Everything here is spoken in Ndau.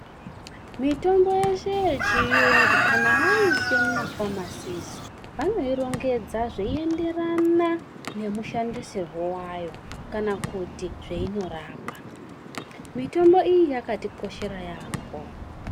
Mitombo yeshe yechiyungu kana vaiisa mumafamasi vanoirongedza zveienderana nemushandisirwo wayo kana kuti zveinorapa. Mitombo iyi yakatikoshera yaamho.